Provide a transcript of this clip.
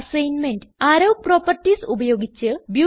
assignment arrow properties ഉപയോഗിച്ച് 1